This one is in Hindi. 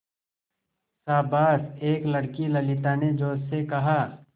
शाबाश एक लड़की ललिता ने जोश से कहा